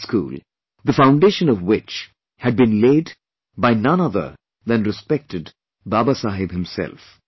I went to the school, the foundation of which had been laid by none other than respected Baba Saheb himself